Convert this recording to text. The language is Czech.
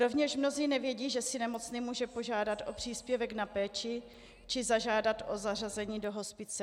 Rovněž mnozí nevědí, že si nemocný může požádat o příspěvek na péči či zažádat o zařazení do hospice.